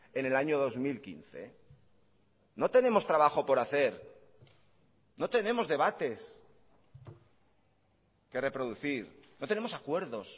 en el año dos mil quince no tenemos trabajo por hacer no tenemos debates que reproducir no tenemos acuerdos